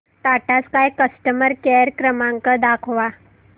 Tata Sky customer care क्रमांक दाखवा